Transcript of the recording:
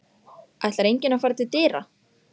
Ætlar enginn að fara til dyra?